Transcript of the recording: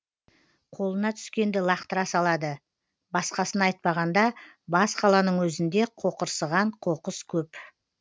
қолына түскенді лақтыра салады басқасын айтпағанда бас қаланың өзінде қоқырсыған қоқыс көп